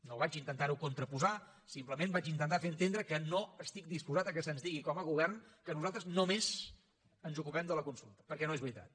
no vaig intentar ho contraposar simplement vaig intentar fer entendre que no estic disposat que se’ns digui com a govern que nosaltres només ens ocupem de la consulta perquè no és veritat